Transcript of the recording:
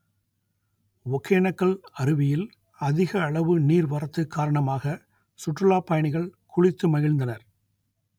ஒகேனக்கல் அருவியில் அதிக அளவு நீர்வரத்து காரணமாக சுற்றுலாப் பயணிகள் குளித்து மகிழ்ந்தனர்